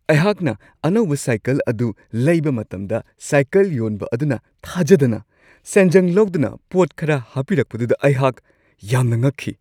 ꯑꯩꯍꯥꯛꯅ ꯑꯅꯧꯕ ꯁꯥꯏꯀꯜ ꯑꯗꯨ ꯂꯩꯕ ꯃꯇꯝꯗ ꯁꯥꯏꯀꯜ ꯌꯣꯟꯕ ꯑꯗꯨꯅ ꯊꯥꯖꯗꯅ ꯁꯦꯟꯖꯪ ꯂꯧꯗꯅ ꯄꯣꯠ ꯈꯔ ꯍꯥꯞꯄꯤꯔꯛꯄꯗꯨꯗ ꯑꯩꯍꯥꯛ ꯌꯥꯝꯅ ꯉꯛꯈꯤ ꯫